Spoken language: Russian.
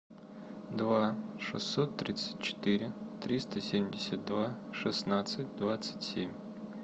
два шестьсот тридцать четыре триста семьдесят два шестнадцать двадцать семь